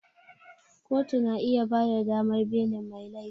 Kotu na iya bada damar belin mai laifi